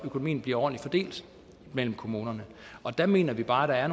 økonomien bliver ordentlig fordelt mellem kommunerne og der mener vi bare